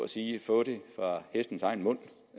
sige at få det fra hestens egen mund